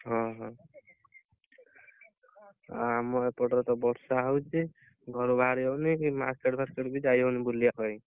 ଓହୋ ଆଉ ଆମ ଏପଟରେ ତ ବର୍ଷା ହଉଛି ଘରୁ ବାହାରି ହଉନି କି market ଫାରକେଟ ବି ଟିକେ ଯାଇ ହଉନି ବୁଲିବା ପାଇଁ